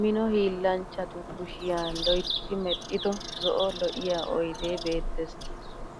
Mino hiillanchchatu kushiya loytti medhdhido zo'o lo'iyaa oydee beettes.